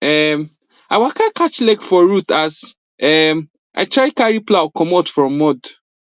um i waka catch leg for root as um i try carry plow comot from mud